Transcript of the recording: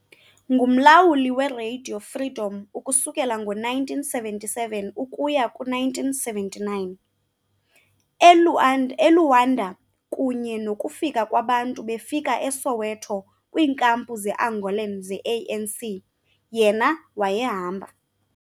Ngumlawuli weRadio Freedom ukusukela ngo-1977 ukuya ku-1979 , e-Luanda, kunye nokufika kwabantu befika eSoweto kwiinkampu ze-Angolan ze-ANC, yena wayehamba.